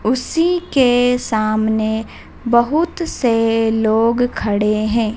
उसी के सामने बहुत से लोग खड़े हैं।